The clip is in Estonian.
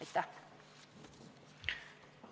Aitäh!